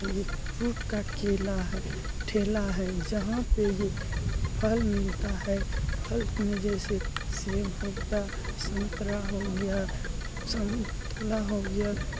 एक फ्रूट का केला है ठेला है जहाँ पे ये फल मिलता है फल मे जैसे सेब हो गया संतरा हो गया संतुला हो गया।